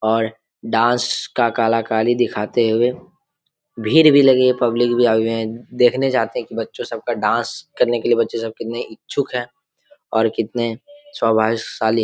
और डांस का कलाकारी दिखाते हुए भीड़ भी लगी है पब्लिक भी आई हुई है देखने जाते है कि बच्चो सबका डांस करने के लिए बच्चो सब कितने इच्छुक है और कितने सौभाग्यशाली --